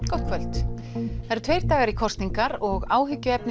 gott kvöld það eru tveir dagar í kosningar og áhyggjuefni